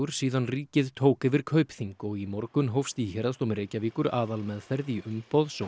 síðan ríkið tók yfir Kaupþing og í morgun hófst í Héraðsdómi Reykjavíkur aðalmeðferð í umboðs og